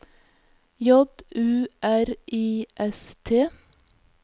J U R I S T